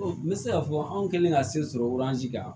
N bɛ se k'a fɔ anw kɛlen ka se sɔrɔji kan